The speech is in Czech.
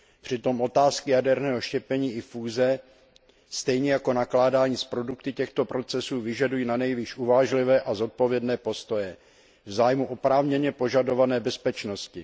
Přitom otázky jaderného štěpení i fúze stejně jako nakládání s produkty těchto procesů vyžadují nanejvýš uvážlivé a zodpovědné postoje v zájmu oprávněně požadované bezpečnosti.